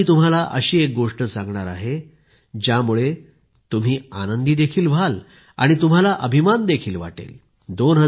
आता मी तुम्हाला अशी एक गोष्ट सांगणार आहे ज्यामुळे तुम्ही आनंदी देखील व्हाल आणि तुम्हाला अभिमान देखील वाटेल